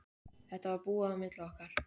Þetta var búið á milli okkar.